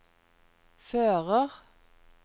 fører